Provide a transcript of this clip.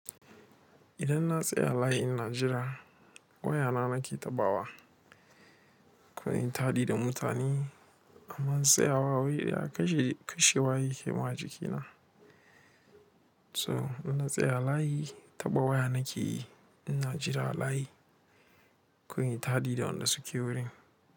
Idan na tsaya layi in na jira waya na nake taɓawa, ko in yi taɗi da mutane, amma tsayawa wuri ɗaya kashe waye ke ma jikina. To ina tsaya layi taɓa waya nake yi, ina jira layi, ko in yi taɗi da wanda suke wurin.